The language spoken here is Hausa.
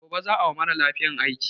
Gobe za a wa mara lafiyan aiki.